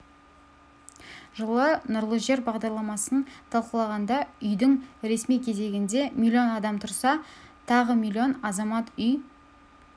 жылы нұрлы жер бағдарламасын талқылағанда үйдің ресми кезегінде миллион адам тұрса тағы миллион азамат үй